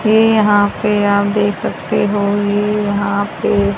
ये यहां पे आप दे सकते हो ए यहा पे--